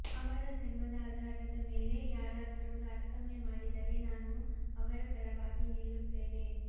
ಅವರ ಧರ್ಮದ ಆಧಾರದ ಮೇಲೆ ಯಾರಾದರೂ ತಾರತಮ್ಯ ಮಾಡಿದರೆ ನಾನು ಅವರ ಪರವಾಗಿ ನಿಲ್ಲುತ್ತೇನೆ